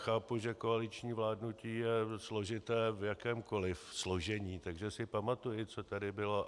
Chápu, že koaliční vládnutí je složité v jakémkoli složení, takže si pamatuji, co tady bylo.